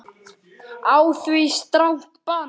Á því strangt bann.